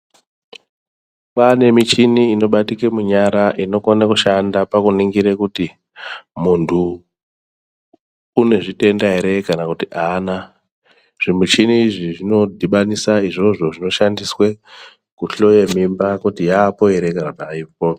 Kwane michini inobatike munyara inokona kushanda pakuningira kuti muntu une zvitenda ere kana kuti haana. Zvimichini izvi zvinodhibanisa izvozvo zvinoshandiswe kuhloya mimba kuti yaapo ere kana kuti haipo.